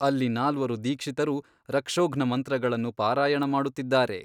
ಅಲ್ಲಿ ನಾಲ್ವರು ದೀಕ್ಷಿತರು ರಕ್ಷೋಘ್ನ ಮಂತ್ರಗಳನ್ನು ಪಾರಾಯಣ ಮಾಡುತ್ತಿದ್ದಾರೆ.